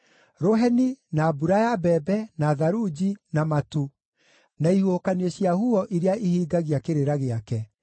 rũheni, na mbura ya mbembe, na tharunji, na matu, na ihuhũkanio cia huho iria ihingagia kĩrĩra gĩake,